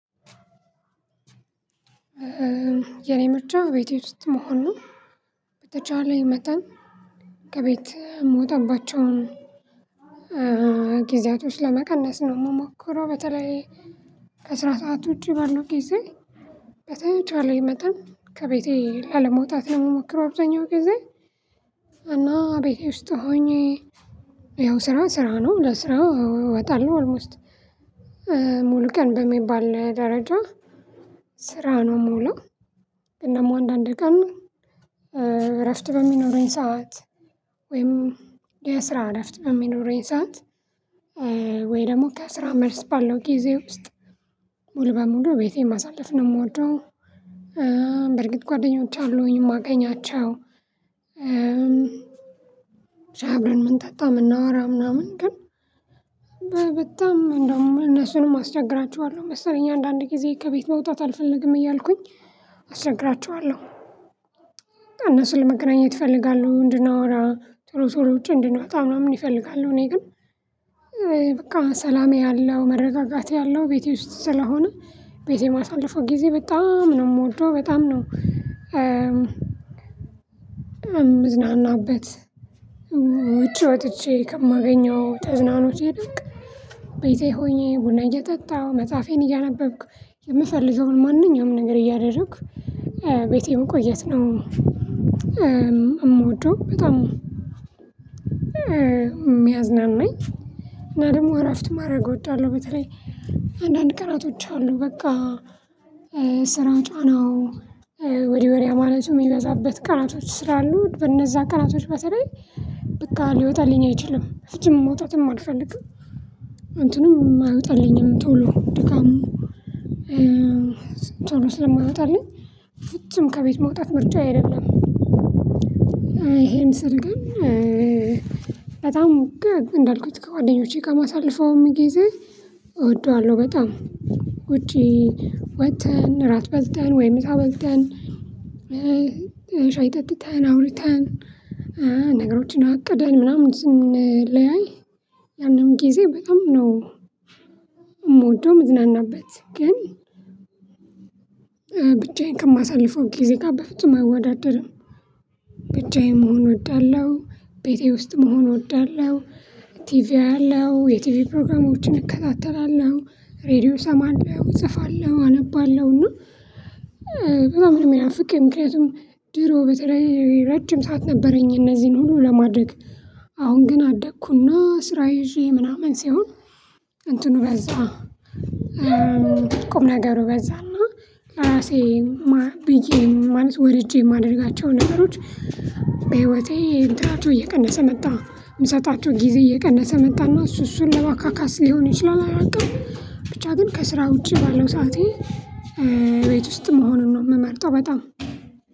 የኔ ምርጫ ቤቴ ውስጥ መሆን በተቻለኝ መጠን ከቤት የሞተባቸውን ጊዜያቶች ለመቀነስ ነው የምሞክረው በተለይ ከስራ ሰዓት ውጪ በሉ ጊዜ በተቻለኝ መጠን ከቤቴ አለመውጣት ለመሞከር አብዛኛው ጊዜ እና ቤቴ ውስጥ ሆኜ ያው ስራ ስራ ነው ለስራው እወጣለሁ አልሞስት ሙሉ ቀን በሚባል ደረጃ ስራ ነው የምውለው። እናም አንዳንድ ቀን እረፍት በሚኖሩኝ ሰዓት ወይም የስራ እረፍት በሚኖረኝ ሰዓት ወይ ደግሞ ከስራ መልስ ባለው ጊዜ ውስጥ ሙሉ በሙሉ ቤቴን ማሳለፍ ነው የምወደው። በርግጥ ጓደኞቼ አሉኝ የማገኛቸው እም ሻይ አብረን ምንጠጣ የምናወራ ምናምን ግን በጣም እንደውም እነሱንም አስቸግራችኋለሁ መሰለኝ አንዳንድ ጊዜ ከቤት መውጣት አልፈልግም እያልኩኝ አስተካክራቸዋለሁ። እነሱን ለመገናኘት እፈልጋለሁ እንድናወራ ጥሩ ሰ እንድናወጣ ምናምን እፈልጋለሁ እኔ ግን በቃ ሰላሜ ያለው መረጋጋት ያለው ቤቴ ውስጥ ስለሆነ ቤቴ ማሳለፉ ጊዜ በጣም ነው የምወደው በጣም ነው እም። እምዝናናበት ውጪ ወጥቼ ከማገኘው ተዝናኖቼ ደብቅ ቤቴ ሆኜ ቡና እየጠጣሁ መጽሐፌን እያነበብኩ የምፈልገውን ማንኛውም ነገር እያደረኩ ቤቴ መቆየት ነው የምወደው በጣም ሚያዝናናኝ እና ደግሞ እረፍት ማድረግ እወዳለሁ። በተለይ አንዳንድ ቅራቶች አሉ በቃ ስራ ጫናው ወዲ ወዲያ ማለት የሚበዛበት ቀናቶች ስላሉ በነዛ ቀናቶች በተለይ በቃ ሊወጣልኝ አይችልም ፍጹም መውጣትም አልፈልግም እንትንም ማወጣልኝም ቶሎ ድካም ቶሎ ስለማይመጣልኝ ፍጹም ከቤት መውጣት ምርጫዬ አይደለም። ይሄን ስል ግን በጣም እንዳልኩት ከጓደኞቼ ጋር ማሳለፈውም ጊዜ እወደዋለሁ በጣም ውጪ ወጥተን እራት በልተን ወይ ምሳ በልተን ጠጥተን አውርተን ነገሮችን አቅደን ምናምን ስንለያይ ያንንም ጊዜ በጣም ነው የምወደው የምዝናናበት ግን ብቻዬን ከማሳልፈው ጊዜ ጋር በፍጹም አይወዳደርም። ብቻዬን መሆን እወዳለሁ። ቤቴ ውስጥ መሆን እወዳለሁ። ቲቪ አያለው የቲቪ ፕሮግራሞችን እከታተላለሁ ሬድዮ እሰማለሁ እጽፋለሁ አነባለሁ እና። በጣም ነው የሚናፈቅህ ምክንያቱም ድሮ በተለይ ረጅም ሰዓት ነበረኝ እነዚህን ሁሉ ለማድረግ አሁን ግን አደኩና ስራ ይዤ ምናምን ሲሆን እንትኑ በዛ ቁም ነገሩ በዛና ራሴ ብዬ ማለት ወርጄ የማደርጋቸው ነገሮች በህይወቴ እየቀነሰ መጣ የምሰጣቸው ጊዜ እየቀነሰ መጣና እሱ እሱን ለባካካስ ሊሆኑ ይችላል አላቅም። ብቻ ግን ከስራ ውጪ ባለው ሰዓቴ ቤት ውስጥ መሆኑን ነው የምመርጠው በጣም።